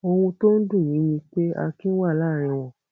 ohun tó ń dùn mí ni pé akin wà láàrin wọn